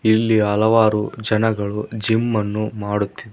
ಇಲ್ಲಿ ಹಲವಾರು ಜನಗಳು ಜಿಮ್ಮನ್ನು ಮಾಡುತ್ತಿ--